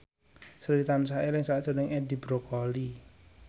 Sri tansah eling sakjroning Edi Brokoli